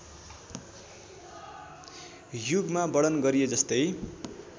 युगमा वर्णन गरिएजस्तै